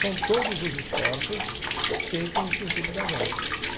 São todos os esforços feitos no sentido da venda.